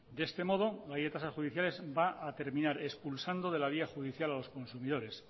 de este modo la ley de tasas judiciales va a terminar expulsando de la vía judicial a los consumidores